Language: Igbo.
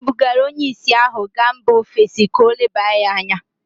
E bugara onye ìsì ahụ gaa mba ofesi ka o leba ya anya